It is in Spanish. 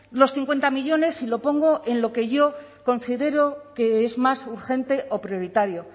los cincuenta millónes y lo pongo en lo que yo considero que es más urgente o prioritario